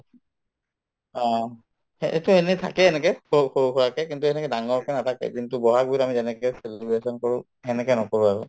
অ, সেইটো এনেই থাকে এনেকে সৰু সৰু সুৰাকে কিন্তু সেনেকে ডাঙৰকে নাপাতে কিন্তু বহাগ বিহুত আমি যেনেকে celebration কৰো সেনেকে নকৰো আৰু